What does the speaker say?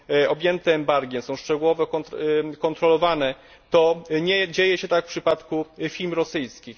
objęte embargiem, są szczegółowo kontrolowane, to nie dzieje się tak w przypadku firm rosyjskich.